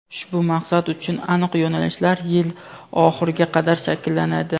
ushbu maqsad uchun aniq yo‘nalishlar yil oxiriga qadar shakllanadi.